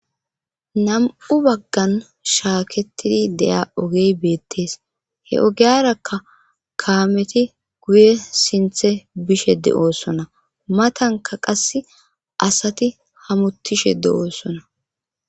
nam7u baggan shaaketidi deya ogey beettees he ogiyarakka kaameti guye sinthe bishe de7oossona matanka qass asati hamutishe de7oosona